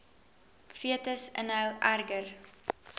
fetus inhou erger